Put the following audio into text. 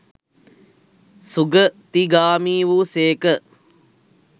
සුගතිගාමි වූ සේක.